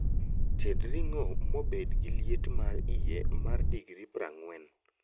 Ted ring'o mabed gi liet mar iye mar digri prang'wen